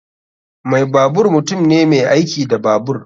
Mai babur mutum ne mai aiki da babur.